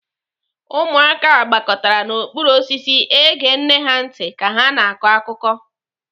Ụmụaka gbakọtara n'okpuru osisi ege nne ha ntị ka ha na-akọ akụkọ.